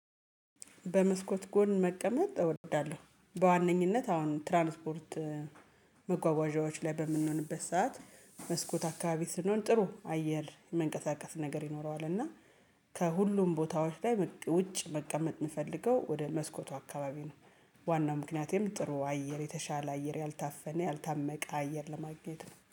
በመስኮት ጎን መቀመጥ እወዳለሁ። በዋነኝነት አሁን ትራንስፖርት መጓጓዣዎች ላይ በምንሆንበት ሰዓት መስኮት አካባቢ ስንሆን ጥሩ አየር መንቀሳቀስ ነገር ይኖረዋል እና ከሁሉም ቦታዎች ላይ ውጭ መቀመጥ የምፈልገው ወደ መስኮቱ አካባቢ ነው። ዋናው ምክንያቴም ጥሩ አየር የተሻለ አየር ያልታፈነ ያልታመቀ አየር ለማግኘት ነው።